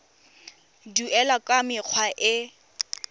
duelwa ka mekgwa e e